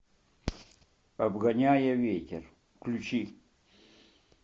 обгоняя ветер включи